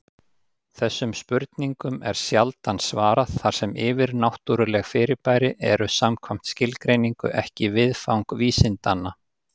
Þessum spurningum er sjaldan svarað, þar sem yfirnáttúruleg fyrirbæri eru samkvæmt skilgreiningu ekki viðfang vísindanna.